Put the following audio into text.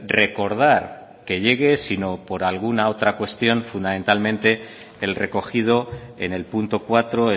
recordar que llegue sino por alguna otra cuestión fundamentalmente el recogido en el punto cuatro